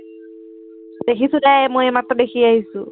দেখিছো যা, এৰ মই এইমাত্ৰ দেখি আহিছো।